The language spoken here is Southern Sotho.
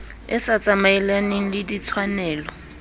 e sa tsamaelaneng le ditshwanelo